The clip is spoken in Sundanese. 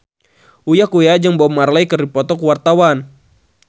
Uya Kuya jeung Bob Marley keur dipoto ku wartawan